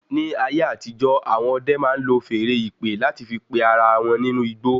Ní ayé àtijó, awọn ọdẹ máa ń lò feèrè ìpè láti fí pé ará wọn nínú igbó